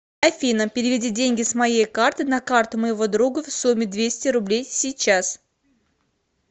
афина переведи деньги с моей карты на карту моего друга в сумме двести рублей сейчас